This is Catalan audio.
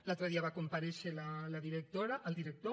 l’altre dia va comparèixer la directora el director